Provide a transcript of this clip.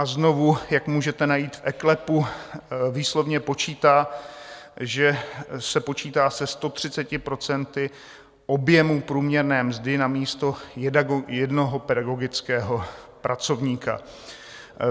A znovu, jak můžete najít v eKLEPu, výslovně uvádí, že se počítá se 130 % objemu průměrné mzdy na místo jednoho pedagogického pracovníka.